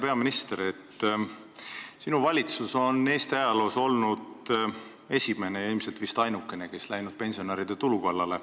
Hea peaminister, sinu valitsus on Eesti ajaloos esimene ja ilmselt vist ainukene, kes on läinud pensionäride tulu kallale.